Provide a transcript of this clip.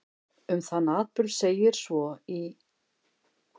Um þann atburð segir svo í